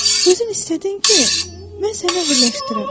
Özün istədin ki, mən səni əhilləşdirim.